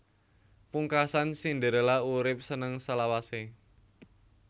Pungkasan Cinderella urip seneng selawasé